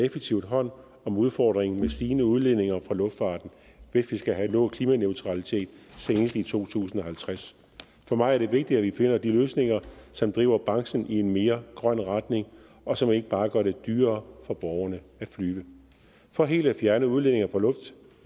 effektivt hånd om udfordringen med stigende udledninger fra luftfarten hvis vi skal have nået klimaneutralitet senest i to tusind og halvtreds for mig er det vigtigt at vi finder de løsninger som driver branchen i en mere grøn retning og som ikke bare gør det dyrere for borgerne at flyve for helt at fjerne udledninger